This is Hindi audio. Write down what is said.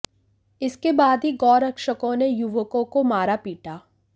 इसके बाद ही गौ रक्षकों ने युवकों को मारा पीटा